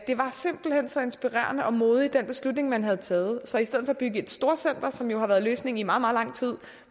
var simpelt hen så inspirerende og modig en beslutning man havde taget så i stedet for at bygge et storcenter som jo har været løsningen i meget meget lang tid